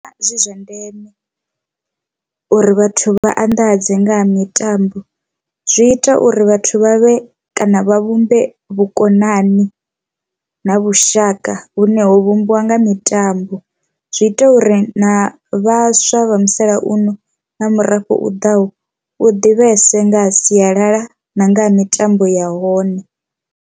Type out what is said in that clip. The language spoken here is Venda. Ndi vhona zwi zwa ndeme uri vhathu vha anḓadze nga ha mitambo zwi ita uri vhathu vhavhe kana vha vhumbe vhukonani na vhushaka vhune ho vhumbiwa nga mitambo, zwi ita uri na vhaswa vha musalauno na murafho u ḓaho u ḓivhese nga ha sialala na nga ha mitambo ya hone.